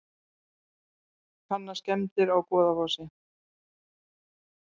Kanna skemmdir á Goðafossi